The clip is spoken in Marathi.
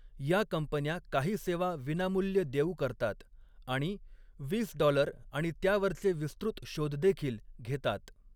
या कंपन्या काही सेवा विनामूल्य देऊ करतात आणि वीस डॉलर आणि त्यावरचे विस्तृत शोध देखील घेतात.